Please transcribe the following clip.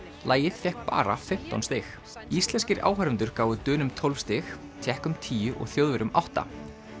lagið fékk bara fimmtán stig íslenskir áhorfendur gáfu Dönum tólf stig Tékkum tíu og Þjóðverjum átta